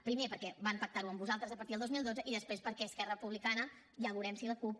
primer perquè van pactar ho amb vosaltres a partir del dos mil dotze i després perquè esquerra republicana ja veurem si la cup